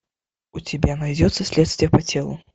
у тебя найдется следствие по телу